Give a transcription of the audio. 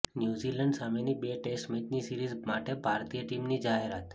New Zealand સામેની બે test મેચની સીરીઝ માટે ભારતીય ટીમની જાહેરાત